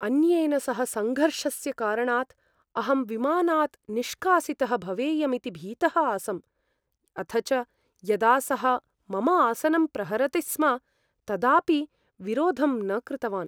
अन्येन सह सङ्घर्षस्य कारणात् अहं विमानात् निष्कासितः भवेयमिति भीतः आसम्, अथ च यदा सः मम आसनं प्रहरति स्म तदापि विरोधं न कृतवान्।